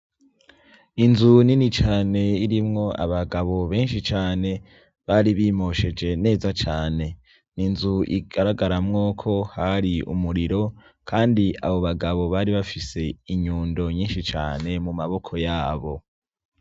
Inzu nini cane irimwo abagabo benshi cane, bari bimosheje neza cane, Inzu igaragaramwo ko hari umuriro kandi abo bagabo bari bafise inyundo nyinshi cane mu maboko yabo.